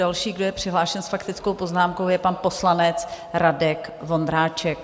Další, kdo je přihlášen s faktickou poznámkou, je pan poslanec Radek Vondráček.